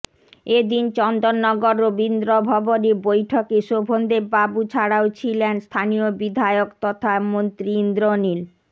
এ দিন চন্দননগর রবীন্দ্রভবনে বৈঠকে শোভনদেববাবু ছাড়াও ছিলেন স্থানীয় বিধায়ক তথা মন্ত্রী ইন্দ্রনীল